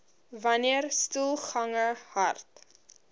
wanneer stoelgange hard